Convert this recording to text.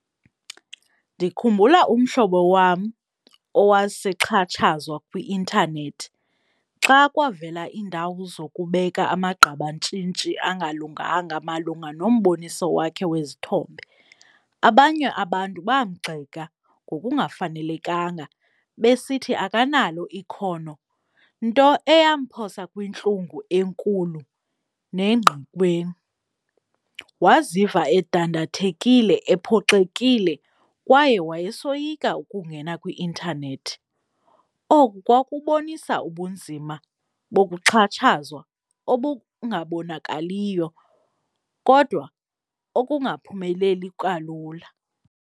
Ndikhumbula umhlobo wam owasexhatshazwa kwi-intanethi xa kwavela iindawo zokubeka amagqabantshintshi angalunganga malunga nomboniso wakhe wezithombe. Abanye abantu bamgxeka ngokungafanelekanga besithi akanalo ikhono, nto eyamphosa kwintlungu enkulu nengqikweni. Waziva edandathekile, ephoxekile kwaye wayesoyika ukungena kwi-intanethi. Oku kwakubonisa ubunzima bokuxhatshazwa obungabonakaliyo kodwa okungaphumeleli kalula.